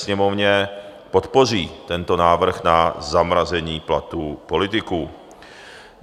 Sněmovně podpoří tento návrh na zamrazení platů politiků.